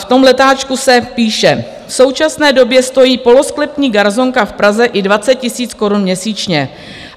V tom letáčku se píše: "V současné době stojí polosklepní garsonka v Praze i 20 000 korun měsíčně.